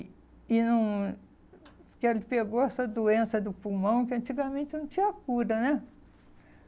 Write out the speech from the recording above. E não que ele pegou essa doença do pulmão que antigamente não tinha cura, né?